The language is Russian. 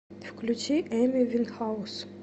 включи эми винхаус